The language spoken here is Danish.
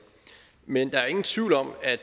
men der er ingen tvivl om at